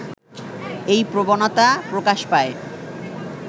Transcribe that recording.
এই প্রবণতা প্রকাশ পায়